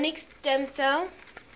embryonic stem cell